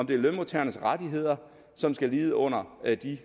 det lønmodtagernes rettigheder som skal lide under